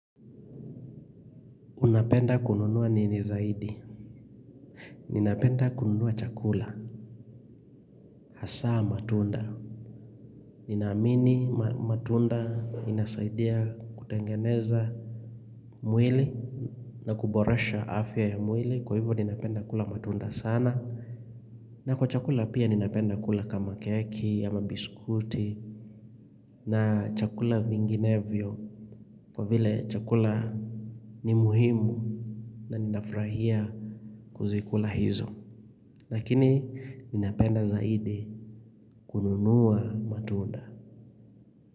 Unapenda kununua nini zaidi Ninapenda kununuwa chakula Hasaa matunda Ninaamini matunda inasaidia kutengeneza mwili na kuboresha afya ya mwili kwa hivyo ninapenda kula matunda sana na kwa chakula pia ninapenda kula kama keki ama biskuti na chakula vinginevyo kwa vile chakula ni muhimu na ninafrahia kuzikula hizo Lakini ninapenda zaidi kununua matunda.